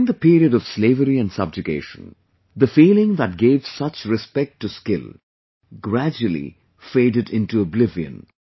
But during the long period of slavery and subjugation, the feeling that gave such respect to skill gradually faded into oblivion